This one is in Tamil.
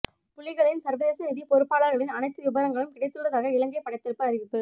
புலிகளின் சர்வதேச நிதிப் பொறுப்பாளர்களின் அனைத்து விபரங்களும் கிடைத்துள்ளதாக இலங்கை படைத்தரப்பு அறிவிப்பு